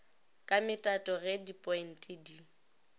ka metato ge dipointe di